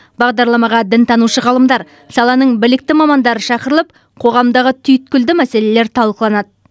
бағдарламаға дінтанушы ғалымдар саланың білікті мамандары шақырылып қоғамдағы түйткілді мәселелер талқыланады